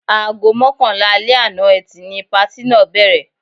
Aago mọ́kànlá alẹ́ àná Ẹtì ni patí náà bẹ̀rẹ̀.